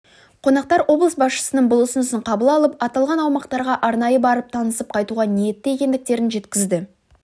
қонақтар облыс басшысының бұл ұсынысын қабыл алып аталған аумақтарға арнайы барып танысып қайтуға ниетті екендіктерін жеткізді